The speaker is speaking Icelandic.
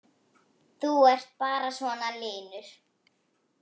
Þú ert bara svona linur!